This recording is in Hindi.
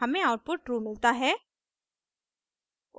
हमें आउटपुट ट्रू मिलता है